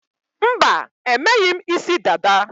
Mba, emeghị m isi dada